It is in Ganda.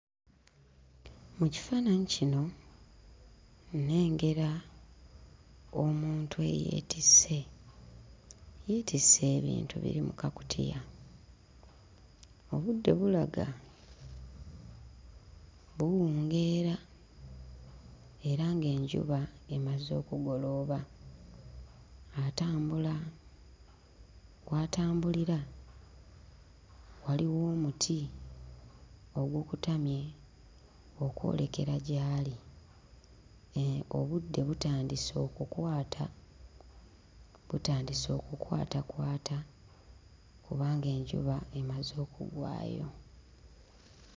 Mu kifaananyi kino nnengera omuntu eyeetisse yeetisse ebintu ebiri mu kakutiya obudde bulaga buwungeera era ng'enjuba emaze okugolooba atambula kw'atambulira waliwo omuti ogukutamye okwolekera gy'ali eeh obudde butandise okukwata butandise okukwatakwata kubanga enjuba emaze okugwayo.